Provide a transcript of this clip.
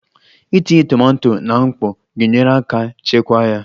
Itinye tomato na mkpọ ga-enyere aka chekwaa ya